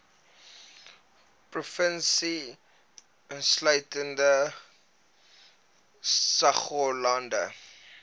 provinsie insluitende saoglande